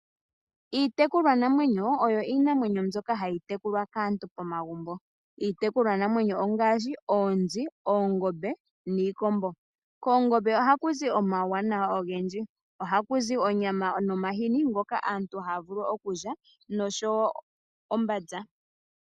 Iitekulwa namwenyo oyo iinamwenyo mbyoka hayi tekulwa kaantu pomagumbo. Iitekulwa namwenyo ongaashi oonzi, oongombe niikombo. Koongombe ohakuzi omawuwanawa ogendji. Ohakuzi onyama nomahini ngoka aantu aantu haya vulu okulya noshowo ombanza.